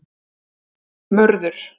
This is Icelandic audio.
Mörður